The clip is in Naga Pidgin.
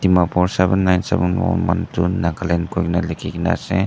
number seven nine seven one manjun nagaland lekhi kina ase.